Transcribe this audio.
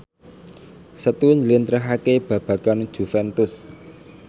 Setu njlentrehake babagan Juventus